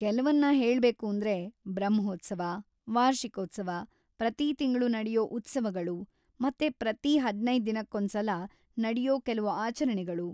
ಕೆಲ್ವನ್ನ ಹೇಳ್ಬೇಕೂಂದ್ರೆ: ಬ್ರಹ್ಮೋತ್ಸವ, ವಾರ್ಷಿಕೋತ್ಸವ, ಪ್ರತೀ ತಿಂಗಳು ನಡ್ಯೋ ಉತ್ಸವಗಳು ಮತ್ತೆ ಪ್ರತೀ ಹದ್ನೈದ್‌ ದಿನಕ್ಕೊಂದ್ಸಲ ನಡ್ಯೋ ಕೆಲ್ವು ಆಚರಣೆಗಳು.